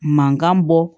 Mankan bɔ